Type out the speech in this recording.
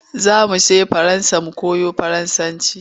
Za mu je Faransa mu koyo Faransanci.